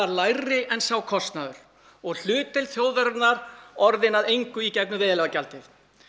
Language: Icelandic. lægri en sá kostnaður og hlutdeild þjóðarinnar orðinn að engu í gegnum veiðileyfagjaldið